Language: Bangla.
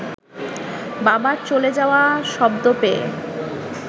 বাবার চলে যাওয়া শব্দ পেয়ে